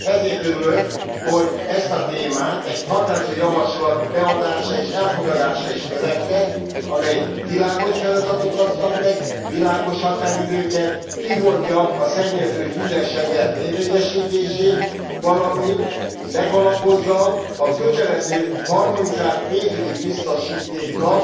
Ezért örülök, hogy ezt a témát egy határozati javaslat beadása és elfogadása is követte, amely világos feladatokat szab meg, világos határidőket, kimondja a szennyező fizessen elv érvényesítését, valamint megalapozza a kötelező, harmonizált pénzügyi biztosítéknak